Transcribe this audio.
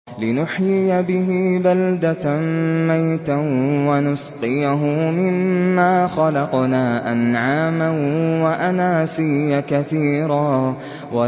لِّنُحْيِيَ بِهِ بَلْدَةً مَّيْتًا وَنُسْقِيَهُ مِمَّا خَلَقْنَا أَنْعَامًا وَأَنَاسِيَّ كَثِيرًا